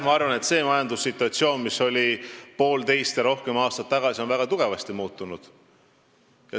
Ma arvan, et see majandussituatsioon, mis oli poolteist ja rohkem aastat tagasi, on väga tugevasti muutunud.